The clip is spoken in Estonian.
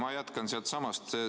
Ma jätkan sealtsamast.